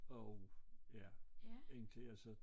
Og ja indtil jeg så